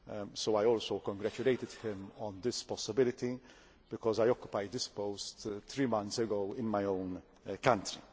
so I also congratulated him on this possibility, because I occupied this post three months ago in my own country.